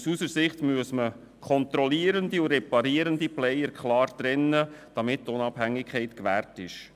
Aus unserer Sicht muss man reparierende und kontrollierende Player klar trennen, damit die Unabhängigkeit gewahrt bleibt.